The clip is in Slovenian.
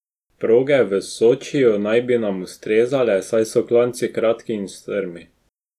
Proge v Sočiju naj bi nam ustrezale, saj so klanci kratki in strmi.